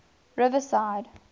riverside